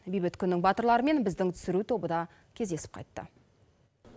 бейбіт күннің батырларымен біздің түсіру тобы да кездесіп қайтты